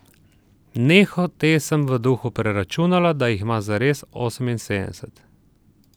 Nehote sem v duhu preračunala, da jih ima zares oseminsedemdeset.